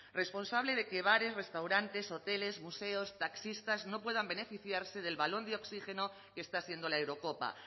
responsable de que bares restaurantes hoteles museos taxistas no puedan beneficiarse del balón de oxígeno que está siendo la eurocopa